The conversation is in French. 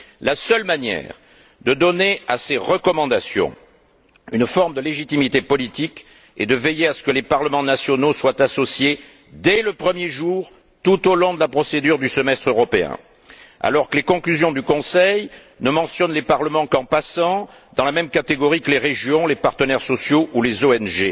La seule manière de donner à ces recommandations une forme de légitimité politique est de veiller à ce que les parlements nationaux soient associés, dès le premier jour, tout au long de la procédure du semestre européen, alors que les conclusions du Conseil ne mentionnent les parlements qu'en passant, dans la même catégorie que les régions, les partenaires sociaux ou les ONG.